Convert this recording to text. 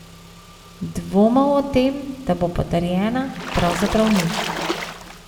Dvomov o tem, da bo potrjena, pravzaprav ni.